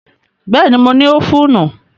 Bẹ́ẹ̀ni, mo ní ófùnù